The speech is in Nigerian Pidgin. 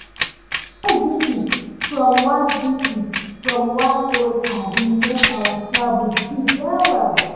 surprise visit from one visit from one old paddy make our travel sweet well well.